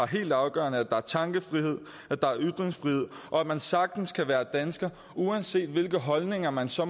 helt afgørende at der er tankefrihed at der er ytringsfrihed og at man sagtens kan være dansker uanset hvilke holdninger man så